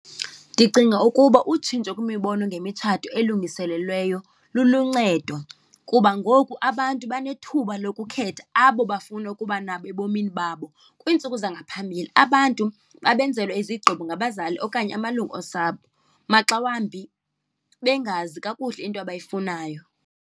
Ndicinga ukuba utshintsho kwimibono ngemitshato elungiselelweyo luluncedo kuba ngoku abantu banethuba lokukhetha abo bafuna ukuba nabo ebomini babo. Kwiintsuku zangaphambili abantu babenzelwa izigqibo ngabazali okanye amalungu osapho, maxa wambi bengazi kakuhle into abayifunayo.